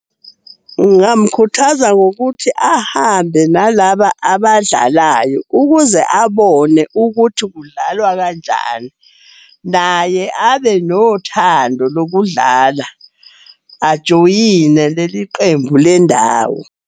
Ngamukhuthaza ngokuthi ahambe nalaba abadlalayo ukuze abone ukuthi kudlalwa kanjani. Naye abe nothando lokudlala, ajoyine leli qembu lendawo.